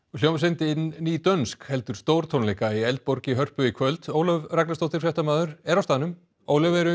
hljómsveitin heldur stórtónleika í Eldborg í Hörpu í kvöld Ólöf Ragnarsdóttir fréttamaður er á staðnum Ólöf eru